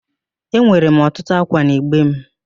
Enwere m ọtụtụ ákwà n'igbe m